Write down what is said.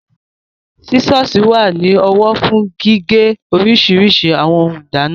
Sísọ̀sì wà ní ọwọ́ fún gígé oríṣiríṣi àwọn ohun ìdáná